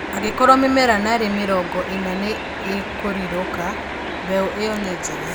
Angĩkorwo mĩmera narĩ mĩrongo ĩna nĩ ĩkũrirũka, mbeũ ĩyo ni njega